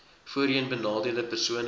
voorheen benadeelde persone